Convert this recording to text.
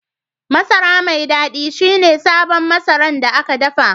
Masara mai dadi ci ne sabo Masara da an dapa